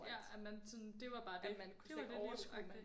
Ja at man sådan det var bare dét. Det var det liv agtigt